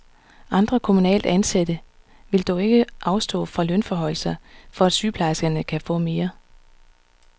Andre kommunalt ansatte vil dog ikke afstå fra lønforhøjelser for at sygeplejerskerne kan få mere.